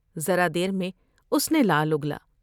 ذرا دیر میں اس نے لعل اگلا ۔